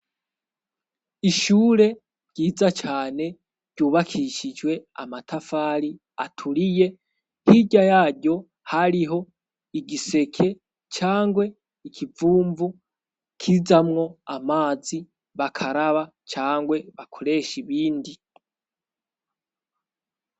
Ishure ryiza cane ryubakishijwe amatafari aturiye, hirya yaryo hariho igiseke cangwe ikivumvu kizamwo amazi bakaraba cangwe bakoresha ibindi.